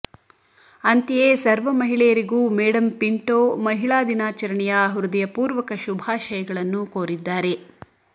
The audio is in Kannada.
ಅಂತೆಯೇ ಸರ್ವ ಮಹಿಳೆಯರಿಗೂ ಮೇಡಂ ಪಿಂಟೋ ಮಹಿಳಾ ದಿನಾಚರಣೆಯ ಹೃದಯಪೂರ್ವಕ ಶುಭಾಶಯಗಳನ್ನು ಕೋರಿದ್ದಾರೆ